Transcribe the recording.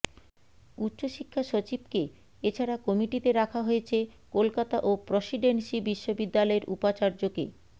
উচ্চ শিক্ষা সচিবকে এছাড়া কমিটিতে রাখা হয়েছে কলকাতা ও প্রসিডেন্সি বিশ্ববিদ্যালয়ের উপাচার্যকে